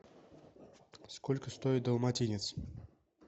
сколько стоит далматинец